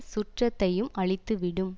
சுற்றத்தையும் அழித்துவிடும்